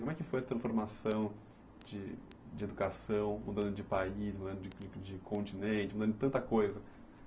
Como é que foi essa transformação de de educação, mudando de país, mudando de continente, mudando de tanta coisa?